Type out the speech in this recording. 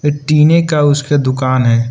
टीने का उसके दुकान है।